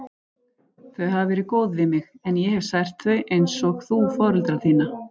Þau hafa verið góð við mig, en ég hef sært þau, einsog þú foreldra þína.